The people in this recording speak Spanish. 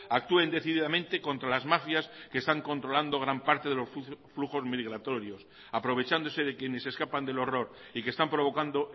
actúen decididamente contra las mafias que están controlando gran parte de los flujos migratorios aprovechándose de quienes escapan del horror y que están provocando